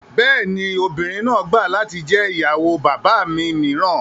Bẹ́ẹ̀ ni, obìnrin náà gbà latí jẹ́ ìyàwó bàbá mi mìíràn